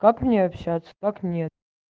как мне общаться как нет